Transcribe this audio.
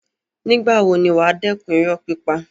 Nígbà wo ni wà á dẹ́kun irọ́ pípa.